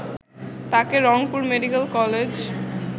তাকে Rangpur medical college